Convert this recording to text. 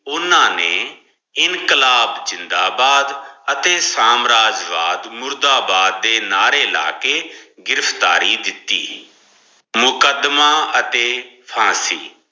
ਓਨਾ ਨੇ ਨੇ ਇੰਕ਼ਾਲਾਬ ਜਿੰਦਾ ਬਾਅਦ ਹਟੀ ਸਤ੍ਤਮ ਮੁਰਦਾ ਬਾਅਦ ਦੇ ਨਾਰੀ ਲਾ ਕੇ ਗਿਰਫਤਾਰੀ ਦਿਤੀ ਮੁਕ਼ਾਦ੍ਮਾ ਆ ਤੇ ਪੰਸੀ